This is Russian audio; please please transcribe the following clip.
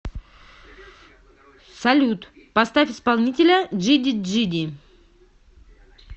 салют поставь исполнителя джиди джи ди